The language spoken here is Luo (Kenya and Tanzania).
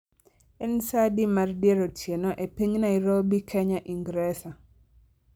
En saa adi mar dier otieno e piny Nairobi kenya ingresa